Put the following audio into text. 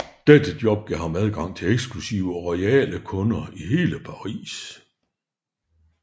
Dette job gav ham adgang til eksklusive og royale kunder i hele Paris